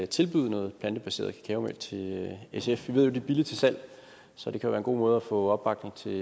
tilbyde noget plantebaseret kakaomælk til sf vi ved jo det er billigt til salg så det kan være en god måde at få opbakning til et